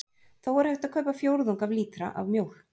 Þó er hægt að kaupa fjórðung af lítra af mjólk.